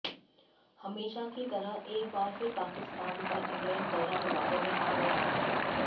हमेशा की तरह एक बार फिर पाकिस्तान का इंग्लैंड दौरा विवादों में आ गया है